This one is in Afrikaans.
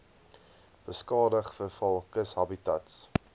beskadig veral kushabitats